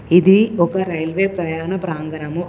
ఇది ఒక రైల్వే ప్రయాణ ప్రాంగణం.